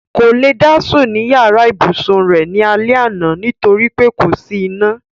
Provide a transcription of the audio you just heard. Kò lè dá sùn ní yàrá ìbùsun rẹ̀ ní alẹ́ àná nítorí pé kò sí iná.